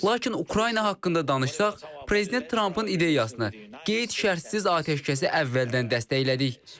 Lakin Ukrayna haqqında danışsaq, prezident Trampın ideyasına qeyd-şərtsiz atəşkəsi əvvəldən dəstəklədik.